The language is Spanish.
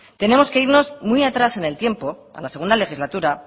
tenemos que irnos muy atrás en el tiempo a la segundo legislatura